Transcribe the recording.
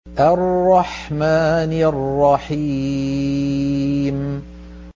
الرَّحْمَٰنِ الرَّحِيمِ